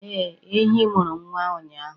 Ee, ehi mụrụ nwa ụnyahụ